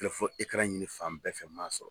Telefɔ ekaran ɲinin fan bɛɛ fɛ i m'a sɔrɔ